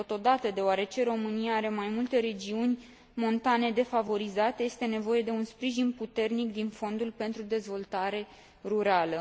Totodată, deoarece România are mai multe regiuni montane defavorizate, este nevoie de un sprijin puternic din Fondul pentru dezvoltare rurală.